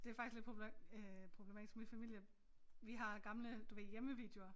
Det faktisk lidt øh problematisk min familie vi har gamle du ved hjemmevideoer